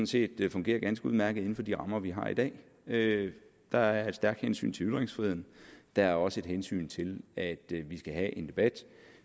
set fungerer ganske udmærket inden for de rammer vi har i dag der er et stærkt hensyn til ytringsfriheden der er også et hensyn til at vi skal have en debat